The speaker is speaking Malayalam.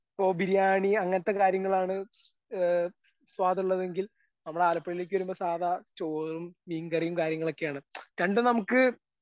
ഇപ്പൊ ബിരിയാണി അങ്ങനത്തെ കാര്യങ്ങളാണ് ഏ സ്വാദുള്ളതെങ്കിൽ നമ്മള് ആലപ്പുഴയിലേക്ക് വരുമ്പോ സാധാ ചോറും മീൻകറിയും കാര്യങ്ങളൊക്കെയാണ് രണ്ടും നമുക്ക്.